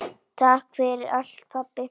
Takk fyrir allt pabbi.